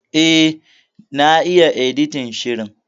E, na yi editin shirin.